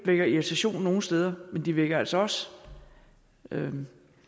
vækker irritation nogle steder men de vækker altså også